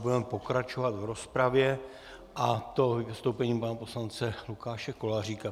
Budeme pokračovat v rozpravě, a to vystoupením pana poslance Lukáše Koláříka.